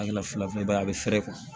A kɛla fila fila i b'a ye a bɛ feere kuwa